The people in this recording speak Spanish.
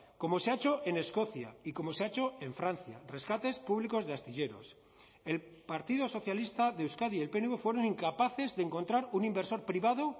como se ha hecho en escocia y como se ha hecho en francia rescates públicos de astilleros el partido socialista de euskadi y el pnv fueron incapaces de encontrar un inversor privado